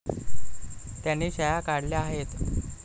त्यांनी शाळा काढल्या आहेत.